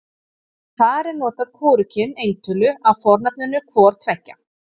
Þar er notað hvorugkyn eintölu af fornafninu hvor tveggja.